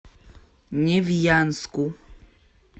невьянску